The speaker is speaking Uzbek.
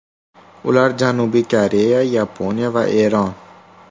Ular Janubiy Koreya, Yaponiya va Eron.